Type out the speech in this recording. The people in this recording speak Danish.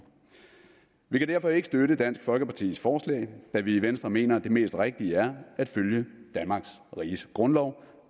vi kan derfor ikke støtte dansk folkepartis forslag da vi i venstre mener at det mest rigtige er at følge danmarks riges grundlov